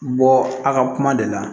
Bɔ a ka kuma de la